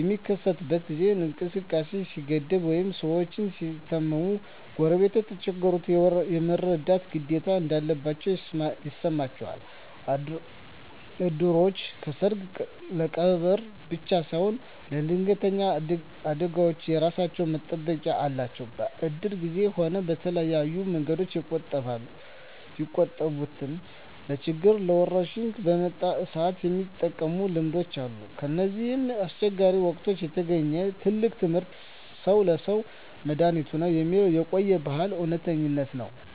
በሚከሰትበት ጊዜ እንቅስቃሴ ሲገደብ ወይም ሰዎች ሲታመሙ፣ ጎረቤቶች የተቸገሩትን የመርዳት ግዴታ እንዳለባቸው ይሰማቸዋል። እድሮች ለሰርግና ለቀብር ብቻ ሳይሆን ለድንገተኛ አደጋዎችም የራሳቸው መጠባበቂያ አላቸው። በእድር ጊዜም ሆነ በተለያየ መንገድ የቆጠቡትን ለችግርና ለወረርሽኝ በመጣ ሰአት የመጠቀም ልምድ አለ። ከእነዚህ አስቸጋሪ ወቅቶች የተገኘው ትልቁ ትምህርት "ሰው ለሰው መድኃኒቱ ነው" የሚለው የቆየ ብልሃት እውነተኝነት ነው።